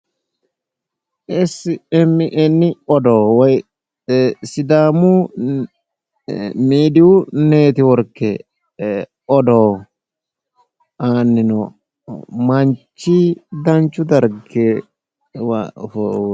Essi emmi enni odoo woy ee sidaamu miidiiyu neetiworke odoo aanni noo manchi danchu dargiwa ofolle